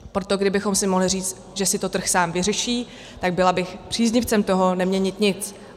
Proto kdybychom si mohli říct, že si to trh sám vyřeší, tak bych byla příznivcem toho neměnit nic.